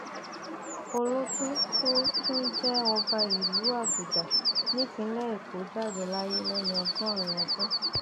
olótó tó tún jẹ ọba ìlú àgùdà nípìnlẹ èkó jáde láyé lẹni ọgọrin ọdún